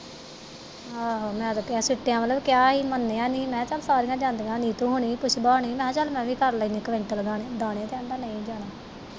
ਆਹੋ ਮੈਂ ਤੇ ਕਿਹਾ, ਸਿੱਟਿਆ ਵੱਲੋ ਵੀ ਕਿਹਾ ਹੀ ਮੰਨਿਆ ਨੀ, ਮੈਂ ਕਿਹਾ ਚਲ ਸਾਰੀਆ ਜਾਂਦੀਆ ਨੀਤੂ ਹੁਣੀ, ਪੁਸਬਾ ਹੁਣੀ ਮੈਂ ਕਿਹਾ ਚਲ ਮੈਂ ਵੀ ਕਰ ਲੈਨੀ ਕੁਇੰਟਲ ਦਾਣੇ, ਕਹਿੰਦਾ ਨਹੀਂ ਜਾਣਾ।